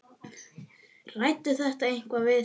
Ræddirðu þetta eitthvað við þá?